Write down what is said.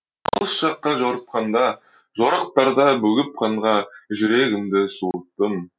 алыс жаққа жорытқанда жорықтарда бөгіп қанға жүрегімді суыттым